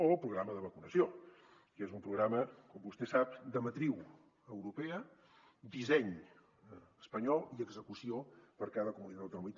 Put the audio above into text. o el programa de vacunació que és un programa com vostè sap de matriu europea disseny espanyol i execució per cada comunitat autònoma